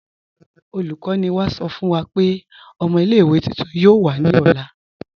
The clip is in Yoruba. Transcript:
Olùkọ̀nì wá sọ̀ fún wà pé ọ̀mọ̀ ilẹ̀-ìwé tuntun yoo wà ní ọ̀lá.